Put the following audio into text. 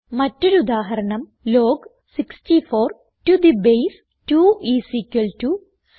മറ്റൊരു ഉദാഹരണം log 64 to the base 2 is equal to 6